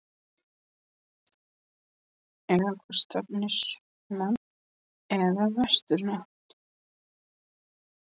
Eða hvort stefni í sunnan- eða vestanátt?